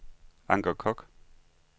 Anker Kock